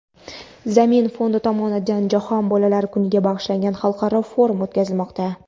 "Zamin" fondi tomonidan Jahon bolalar kuniga bag‘ishlangan xalqaro forum o‘tkazilmoqda.